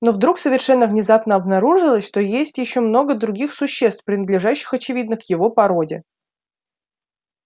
но вдруг совершенно внезапно обнаружилось что есть ещё много других существ принадлежащих очевидно к его породе